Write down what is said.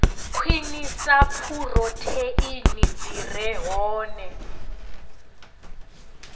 khwinisa phurotheini dzi re hone